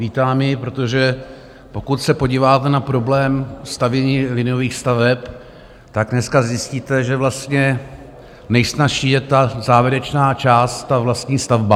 Vítám ji, protože pokud se podíváte na problém stavění liniových staveb, tak dneska zjistíte, že vlastně nejsnazší je ta závěrečná část, ta vlastní stavba.